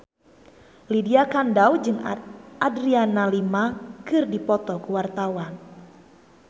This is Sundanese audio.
Lydia Kandou jeung Adriana Lima keur dipoto ku wartawan